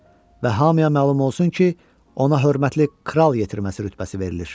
Və hamıya məlum olsun ki, ona hörmətli kral yetirməsi rütbəsi verilir.